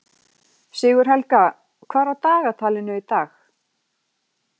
Sigurhelga, hvað er á dagatalinu í dag?